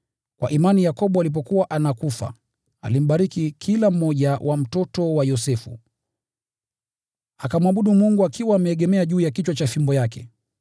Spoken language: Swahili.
Kwa imani Yakobo alipokuwa anakufa, alimbariki kila mmoja wa mtoto wa Yosefu, akamwabudu Mungu akiwa ameegemea juu ya kichwa cha fimbo yake.